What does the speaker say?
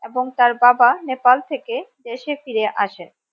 এবং তার বাবা নেপাল থেকে দেশে ফিরে আসেন।